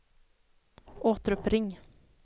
återuppring